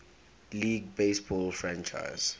league baseball franchise